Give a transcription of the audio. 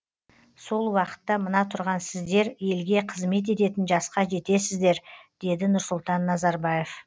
сол уақытта мына тұрған сіздер елге қызмет ететін жасқа жетесіздер деді нұрсұлтан назарбаев